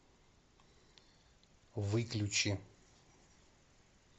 выключи